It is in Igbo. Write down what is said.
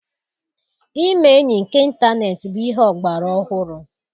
Ime enyi nke ịntaneetị bụ ihe ọgbara ọhụrụ.